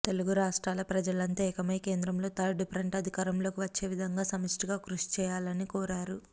తెలుగు రాష్ట్రాల ప్రజలంతా ఏకమై కేంద్రంలో థర్డు ఫ్రంట్ అధికారంలోకి వచ్చే విధంగా సమష్టిగా కృషిచేయాలని కోరారు